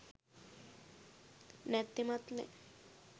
නැත්තෙමත් නෑ